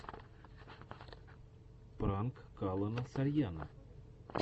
пранк калона сарьяно